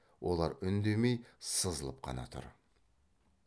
олар үндемей сызылып қана тұр